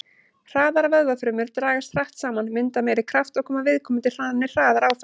Hraðar vöðvafrumur dragast hratt saman, mynda meiri kraft og koma viðkomandi þannig hraðar áfram.